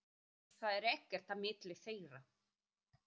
Það er ekkert á milli þeirra.